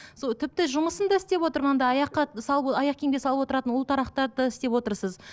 тіпті жұмысын да істеп отырған да аяққа салып аяқ киімге салып отыратын ұлтарақтарды істеп отырсыз